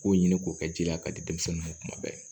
K'o ɲini k'o kɛ ji la k'a di denmisɛnnin ma kuma bɛɛ